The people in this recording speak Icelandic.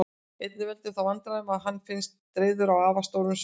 Einnig veldur það vandkvæðum að hann finnst dreifður á afar stórum svæðum.